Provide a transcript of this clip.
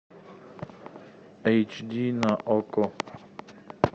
эйч ди на окко